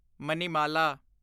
Manimala